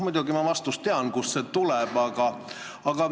Muidugi ma tean vastust, kust see tuleb.